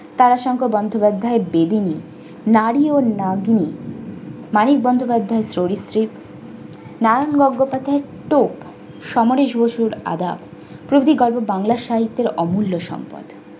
তারাশঙ্খ বন্দোপাধ্যায় এর বেদুনী, নারী ও মাগী মানিক বন্দ্যোপাধ্যায়ের চরিত্রিক, নারায়ণ গঙ্গোপাধ্যায়ের তো, সমরেশ বসুর আদাব, কবি কাজে বাংলা সাহিত্যের অমূল্য সম্পদ।